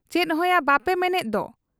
ᱪᱮᱫᱦᱚᱸᱭᱟ ᱵᱟᱯᱮ ᱢᱮᱱᱮᱫ ᱫᱚ ?